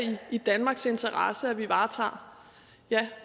i danmarks interesse at vi varetager ja